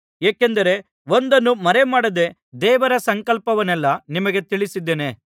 ಏಕೆಂದರೆ ಒಂದನ್ನೂ ಮರೆಮಾಡದೆ ದೇವರ ಸಂಕಲ್ಪವನ್ನೆಲ್ಲಾ ನಿಮಗೆ ತಿಳಿಸಿದ್ದೇನೆ